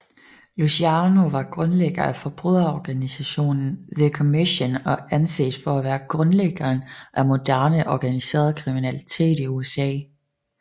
Luciano var grundlægger af forbryderorganisationen The Commission og anses at være grundlæggeren af moderne organiseret kriminalitet i USA